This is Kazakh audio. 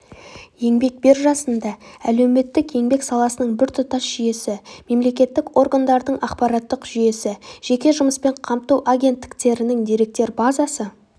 еңбек биржасында әлеуметтік-еңбек саласының біртұтас жүйесі мемлекеттік органдардың ақпараттық жүйесі жеке жұмыспен қамту агенттіктерінің деректер базасы